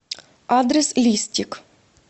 адрес листик